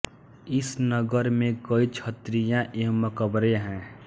इस नगर में कई छत्रियाँ एवं मकबरें हैं